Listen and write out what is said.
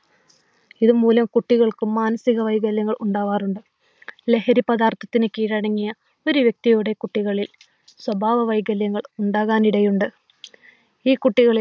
ഇതുമൂലം കുട്ടികൾക്ക് മാനസിക വൈകല്യം ഉണ്ടാകാറുണ്ട്. ലഹരിപദാർത്ഥത്തിന് കീഴടങ്ങിയ ഒത്തിരി വ്യക്തികളുടെ കുട്ടികളിൽ സ്വഭാവ വൈകല്യങ്ങൾ ഉണ്ടാക്കാൻ ഇടയുണ്ട്. ഈ കുട്ടികളിൽ